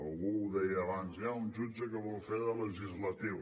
algú ho deia abans hi ha un jutge que vol fer de legislatiu